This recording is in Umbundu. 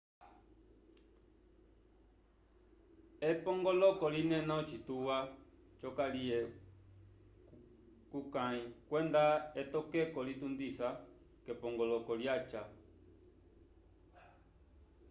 epongoloko linena ocituwa c'okaliye kukãyi kwenda etokeko litundisa k'epongoloko lyaca